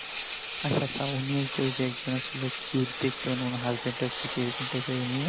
আচ্ছা আচ্ছা উনি ওই যে একজন ছিল cute দেখতে মানে না husband এর পিঠে এরকম দেখতেনা